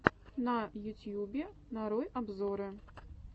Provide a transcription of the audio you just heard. на ютьюбе нарой обзоры